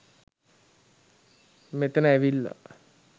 මෙතන ඇවිල්ලා